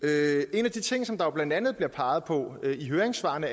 en af de ting som der blandt andet bliver peget på i høringssvarene